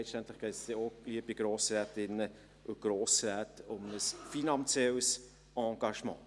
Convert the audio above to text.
Letztlich, liebe Grossrätinnen und Grossräte, geht es dann auch um ein finanzielles Engagement.